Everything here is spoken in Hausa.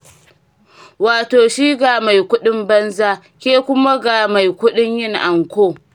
Wato shi ga mai kuɗin banza, ke kuma ga mai kuɗin yin anko.